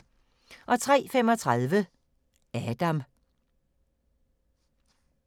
03:35: Adam